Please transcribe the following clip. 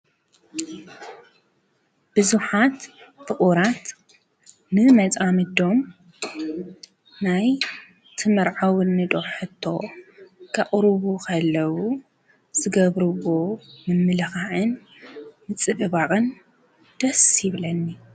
ብዙሓት ፍቁራት ን መፃምዶም ናይ ትምርዐውኒ ዶ ሕቶ ከቕርቡ ከለው ዝገብርዎ ምምልካዕን ምፅብባቕን ደስ ይብለኒ።